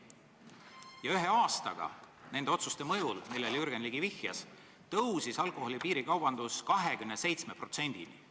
Ja ühe aastaga nende otsuste mõjul, millele Jürgen Ligi viitas, tõusis alkoholi piirikaubanduse osakaal 27%-ni.